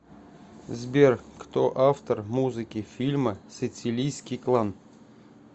сбер кто автор музыки фильма сицилийский клан